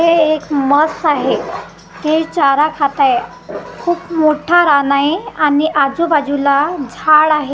हे एक म्हस आहे हे चार खात आहे खूप मोठं रान रान आहे आणि नाजू बाजूला झाड आहे .